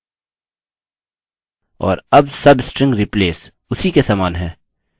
और अब substring replace उसी के समान है